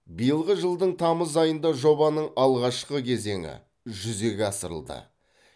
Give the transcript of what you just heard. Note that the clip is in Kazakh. биылғы жылдың тамыз айында жобаның алғашқы кезеңі жүзеге асырылды